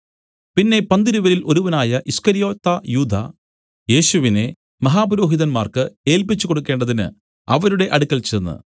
പിന്നെ പന്തിരുവരിൽ ഒരുവനായ ഈസ്കര്യോത്താ യൂദാ യേശുവിനെ മഹാപുരോഹിതൻമാർക്ക് ഏല്പിച്ചുകൊടുക്കേണ്ടതിന് അവരുടെ അടുക്കൽ ചെന്ന്